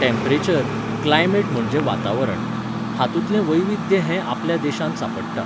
Temperature, climate म्हणजे वातावरण. हातुंतलें वैविध्य हें आपल्या देशांत सांपडटा